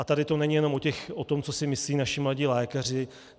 A tady to není jenom o tom, co si myslí naši mladí lékaři.